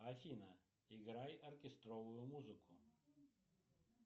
афина играй оркестровую музыку